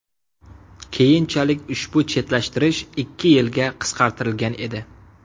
Keyinchalik ushbu chetlashtirish ikki yilga qisqartirilgan edi.